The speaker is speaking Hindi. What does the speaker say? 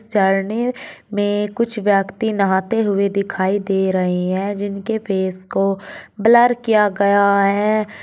झरने में कुछ व्यक्ति नहाते हुए दिखाई दे रहे हैं जिनके फेस को ब्लर किया गया है।